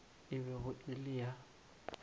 e bego e le ya